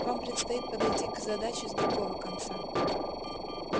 вам предстоит подойти к задаче с другого конца